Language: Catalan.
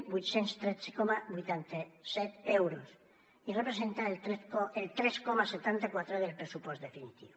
vuit cents i tretze coma vuitanta set euros i representa el tres coma setanta quatre del pressupost definitiu